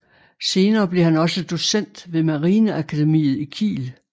Senere blev han også docent ved marineakademiet i Kiel